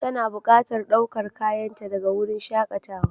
Tana buƙatar ɗaukar kayanta daga wurin shakatawa.